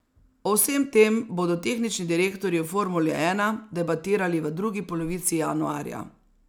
O vsem tem bodo tehnični direktorji v formuli ena debatirali v drugi polovici januarja.